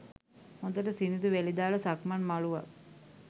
හොඳට සිනිඳු වැලි දාල සක්මන් මළුවක්